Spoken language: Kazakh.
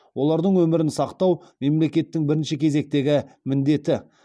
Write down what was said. олардың өмірін сақтау мемлекеттің бірінші кезектегі міндеті